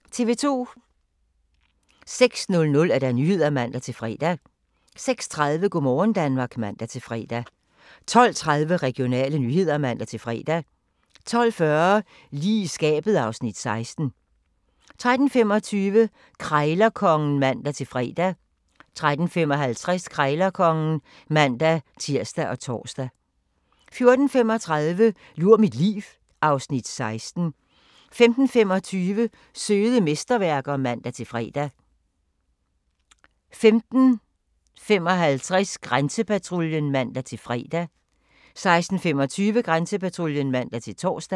06:00: Nyhederne (man-fre) 06:30: Go' morgen Danmark (man-fre) 12:30: Regionale nyheder (man-fre) 12:40: Lige i skabet (Afs. 16) 13:25: Krejlerkongen (man-fre) 13:55: Krejlerkongen (man-tir og tor) 14:35: Lur mit liv (Afs. 16) 15:25: Søde mesterværker (man-fre) 15:55: Grænsepatruljen (man-fre) 16:25: Grænsepatruljen (man-tor)